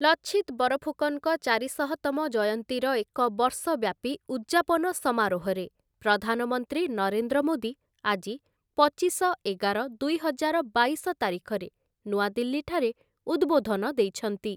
ଲଛିତ୍‌ ବରଫୁକନ୍‌ଙ୍କ ଚାରିଶହ ତମ ଜୟନ୍ତୀର ଏକ ବର୍ଷବ୍ୟାପୀ ଉଦ୍‌ଯାପନ ସମାରୋହରେ ପ୍ରଧାନମନ୍ତ୍ରୀ ନରେନ୍ଦ୍ର ମୋଦି ଆଜି ପଚିଶ ଏଗାର ଦୁଇହଜାର ବାଇଶ ତାରିଖରେ ନୂଆଦିଲ୍ଲୀ ଠାରେ ଉଦ୍‌ବୋଧନ ଦେଇଛନ୍ତି ।